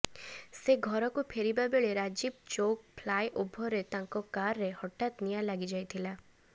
ସେ ଘରକୁ ଫେରିବା ବେଳେ ରାଜୀବ ଚୌକ ଫ୍ଲାଏ ଓଭରରେ ତାଙ୍କ କାରରେ ହଠାତ୍ ନିଆଁ ଲାଗିଯାଇଥିଲା